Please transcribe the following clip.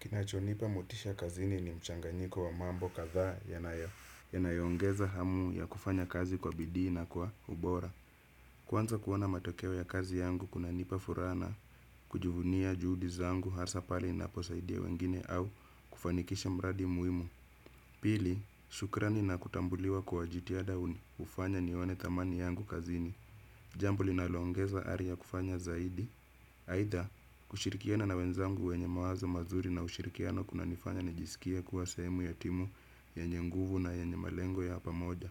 Kinachonipa motisha kazini ni mchanganyiko wa mambo kadhaa yanayoongeza hamu ya kufanya kazi kwa bidii na kwa ubora. Kwanza kuona matokeo ya kazi yangu kunanipa furaha na kujuvunia juhudi zangu hasa pale ninaposaidia wengine au kufanikisha mradi muhimu. Pili, shukrani na kutambuliwa kwa jitihada hufanya nione thamani yangu kazini. Jambo linaloongeza ari ya kufanya zaidi aidha, kushirikiana na wenzangu wenye mawazo mazuri na ushirikiano kuna nifanya nijisikia kuwa sehemu ya timu yenye nguvu na yenye malengo ya hapa moja.